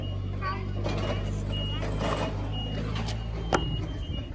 Þar fáum við hæstu verðin.